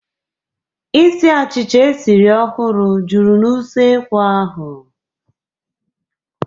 Isiì achịcha e siri ọhụrụ juru na usekwu ahu.